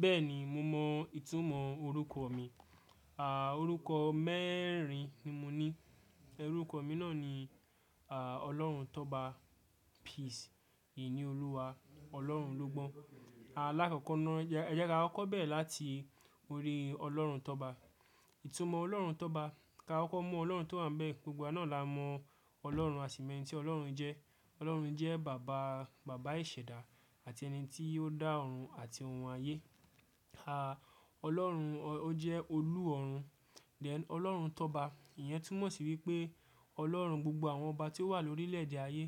Bẹ́ẹ̀ni, mo mọ ìtumọ̀ orúkọ mi. À, orúkọ mẹ́rin ni mo ní. Orúkọ mi náà ni, Ọlọ́runtọ́ba Peace, Ìníolúwa, Ọlọ́run ló gbọ́n. Lákọ̀kọ na, ẹ jẹ́ ká kọko bẹ́rẹ̀ láti orí Ọlọ́runtọ́ba. Ìtumọ̀ Ọlọ́run Tọ́ba, ká koko mu Ọlọ́run tó wà níbẹ̀, gbogbo wa náà la mọ Ọlọ́run, aṣi mo eni tí Ọlọ́run jẹ́. Ọlọ́run jẹ́ bàbá, bàbá ìṣẹ̀dá àti ẹni tí ó dá ọ̀run àti ohun ayé. Ọlọ́run ó jẹ́ olú ọ̀run. Then Ọlọ́run Tọ́ba, ìyẹn túmọ̀ sí wípé Ọlọ́run gbogbo àwọn ọba tí ó wà lórílẹ̀ èdè ayé,